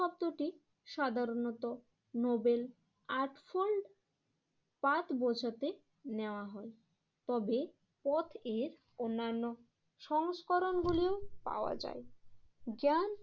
ত্রুটি সাধারণত noble eightfold path বোঝাতে নেওয়া হয় তবে পথ এর অন্যান্য সংস্করণগুলিও পাওয়া যায়। জ্ঞান